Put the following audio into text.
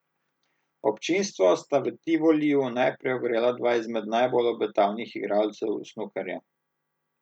Občinstvo sta v Tivoliju najprej ogrela dva izmed najbolj obetavnih igralcev snukerja.